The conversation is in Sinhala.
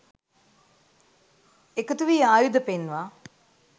එකතු වීආයුධ පෙන්වා,